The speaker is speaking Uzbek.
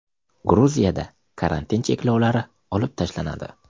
Gruziyada karantin cheklovlari olib tashlanadi.